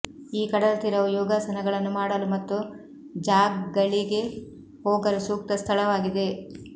ಈ ಕಡಲ ತೀರವು ಯೋಗಾಸನಗಳನ್ನು ಮಾಡಲು ಮತ್ತು ಜಾಗ್ಗಳಿಗೆ ಹೋಗಲು ಸೂಕ್ತ ಸ್ಥಳವಾಗಿದೆ